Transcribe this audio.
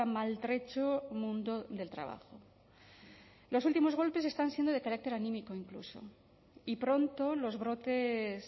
maltrecho mundo del trabajo los últimos golpes están siendo de carácter anímico incluso y pronto los brotes